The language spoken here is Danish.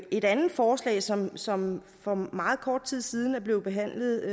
et andet forslag som som for meget kort tid siden er blevet behandlet